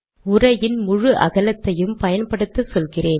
உரையின் முழு அகலத்தையும் பயன்படுத்தச் சொல்கிறேன்